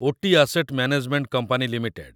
Ooty asset management company limited